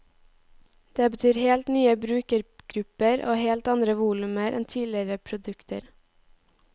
Det betyr helt nye brukergrupper og helt andre volumer enn tidligere produkter.